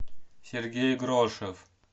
сергей грошев